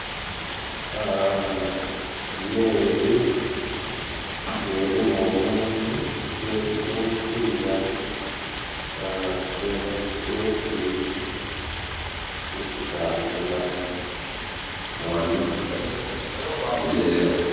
Aaaa emeri nga erimu omuntu nga eriku no mupira nga etwise erikutambula ghano eeee..